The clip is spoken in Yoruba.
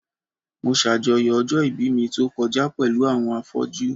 Mo ṣajọyọ̀ ọjọ́ ìbí mi tó kọjá pẹ̀lú àwọn afọ́jú.